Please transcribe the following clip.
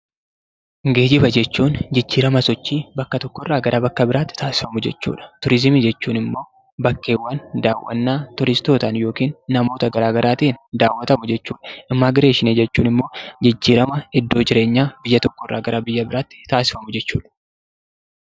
Geejjiba jechuun jijjiirama sochii bakka tokko irraa gara bakka biraatti taasifamu jechuudha. Turizimii jechuun immoo bakkeewwan turistootaan yookiin namoota gara garaatiin daawwatamu jechuudha. Immigireeshinii jechuun immoo jijjiirama iddoo jireenyaa biyya tokko irraa gara biyya biraatti taasifamu jechuudha.